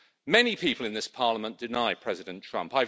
Many people in this Parliament deny President Trump.